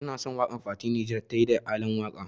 Ina son waƙar da fati Niger tayi da Alan waka.